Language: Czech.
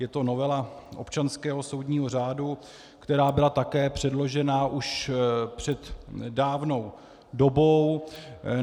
Je to novela občanského soudního řádu, která byla také předložena už před dávnou dobou.